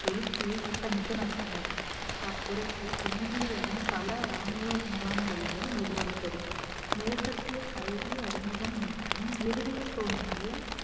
எழுச்சியை திட்டமிட்டு நடத்தினர் அப்புரட்சி தென்னிந்தியாவின் பல ராணுவ முகாம்களிலும் எதிரொலித்தது மேற்கத்திய கல்வி அறிமுகம் மற்றும் இறுதியில் தோன்றிய